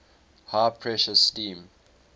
high pressure steam